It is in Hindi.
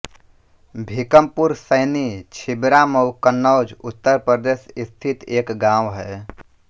भीकमपुर सैनी छिबरामऊ कन्नौज उत्तर प्रदेश स्थित एक गाँव है